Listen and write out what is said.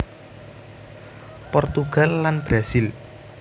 Portugal lan Brazil